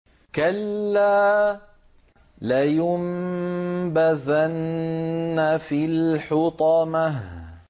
كَلَّا ۖ لَيُنبَذَنَّ فِي الْحُطَمَةِ